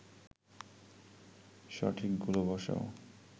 সঠিকগুলো বসাও